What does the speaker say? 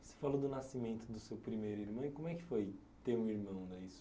Você falou do nascimento do seu primeiro irmão e como é que foi ter um irmão?